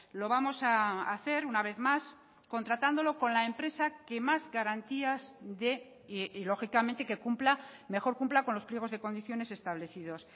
lo vamos a hacer una vez más contratándolo con la empresa que más garantías de y lógicamente que cumpla mejor cumpla con los pliegos de condiciones establecidos